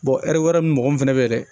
ɛri wɛrɛ min fɛnɛ be yen dɛ